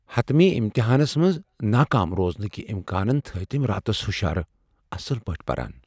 حتمی امتحانس منز ناکام روزنٕكہِ امكانن تھاوۍ تِم راتس ہُشار ، اصل پٲٹھۍ پران ۔